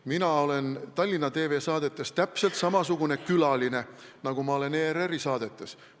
Mina olen Tallinna TV saadetes täpselt samasugune külaline, nagu ma olen ERR-i saadetes.